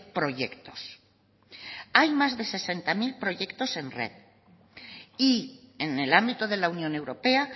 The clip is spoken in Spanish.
proyectos hay más de sesenta mil proyectos en red y en el ámbito de la unión europea